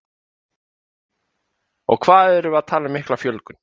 Hugrún: Og hvað erum við að tala um mikla fjölgun?